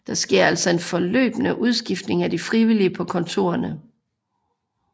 Der sker altså en fortløbende udskiftning af de frivillige på kontorerne